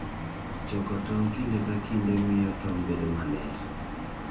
Choko tong' kinde ka kinde miyo tong' bedo maler.